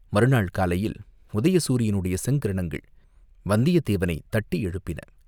மறுநாள் காலையில் உதய சூரியனுடைய செங்கிரணங்கள் வந்தியத்தேவனைத் தட்டி எழுப்பின.